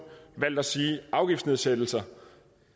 valgt at sige afgiftsnedsættelser